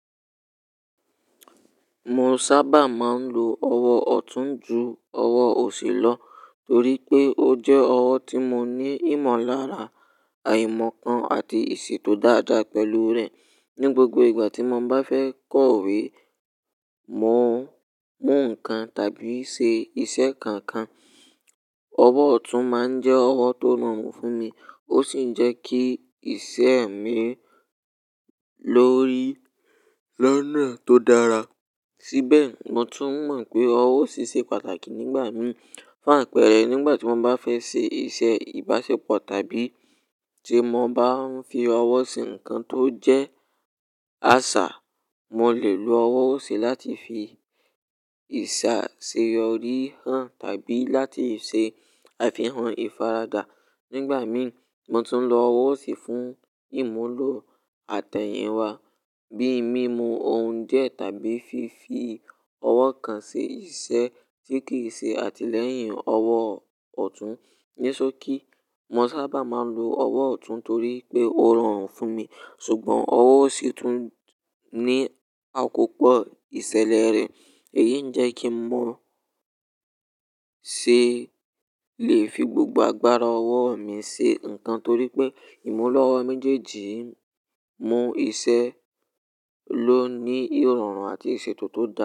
Mo sábà máa ń lo ọwọ́ ọ̀tún ju ọwọ́ òsì lọ torí pé ó jẹ́ ọwọ́ tí mo ní ìmọ̀lára, àìmọ̀ kan àti ìṣètò dáadáa pẹ̀lú rẹ̀. Ní gbogbo ìgbà tí mo bá fẹ́ kọ̀wé, mú nǹkan tàbí ṣe iṣẹ́ kankan, ọwọ́ ọ̀tún máa ń jẹ́ ọwọ́ tó rọrùn fún mi. Ó sì ń jẹ́ kí iṣẹ́ mi lọ́rí lọ́nà tó dára. Síbẹ̀, mo tún mọ̀ pé ọwọ́ òsì ṣe pàtàkì nígbà mìíràn. Fún àpẹẹrẹ, nígbà tí mo bá fẹ́ ṣe iṣẹ́ ìbáṣepọ̀ tàbí tí mo bá ń fi ọwọ́ ṣe nǹkan tó jẹ́ àṣà, mo lè lo ọwọ́ òsì láti fi ìsà ṣe ori hán tàbí láti ṣe àfihàn ìfaradà. Nígbà mìí, mo tún lo ọwọ́ òsì fún ìmúlò àtẹ̀yìnwá bí i mímu oun die tàbí fífi ọwọ́ kan ṣe iṣẹ́ tí kì í ṣe àtìlẹ́yìn ọwọ́ ọ̀tún. Nisoki, mo sábà máa ń lo ọwọ́ ọ̀tún torí pé ó rọrùn fún mi. Ṣùgbọ́n ọwọ́ òsì tún ní àkópọ̀ ìṣẹ̀lẹ̀ rẹ̀. Èyí ń jẹ́ kí mo ṣe lè fi gbogbo agbára ọwọ́ mi ṣe nǹkan torí pé ìmúlọ́ ọwọ́ méjèèjì mú iṣẹ́ ló ní ìrọ̀rùn àti ìṣètò tó dáa.